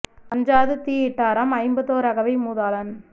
அஞ்சாது தீயிட்டாராம் ஐம்பத்தோரகவை மூதாளன்